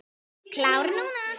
Klár núna.